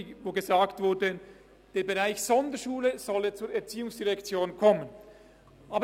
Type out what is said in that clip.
Sie verlangte, dass der Bereich Sonderschule zur ERZ kommen soll.